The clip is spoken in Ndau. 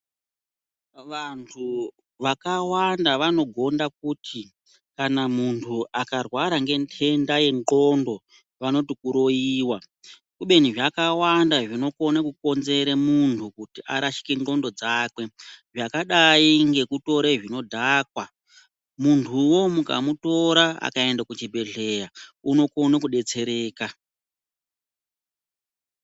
Vantu vakawanda vanoganda kuti kana muntu akarwara ngendenda yenxondo, vanoti kuroyiwa kubeni zvakawanda zvinokona kukonzere muntu kuti arashikwe nxondo dzakwe, zvakadayi ngekutora zvinodhakwa. Muntuwo mukamutora akaenda kuchibhedhleya unokona kudetsereka.